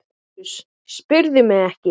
LÁRUS: Spyrðu mig ekki!